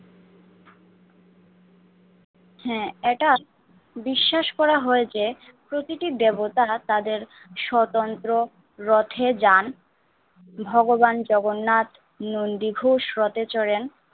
হ্যাঁ এটা বিশ্বাস করা হয় যে প্রতিটি দেবতা তাদের স্বতন্ত্র রথে যান। ভগবান জগন্নাথ দীর্ঘ রথে চড়েন।